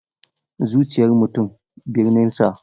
Zuciyar mutum, birninsa.